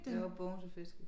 Jo Bogense Fiskehus